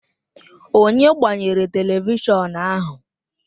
Onye gbanyere televishọn ahụ?